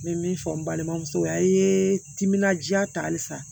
N bɛ min fɔ n balimamuso ya i ye timinandiya ta halisa